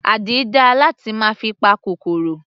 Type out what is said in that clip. Àdí dáa láti máa fi pa kòkòrò.